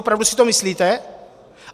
Opravdu si to myslíte?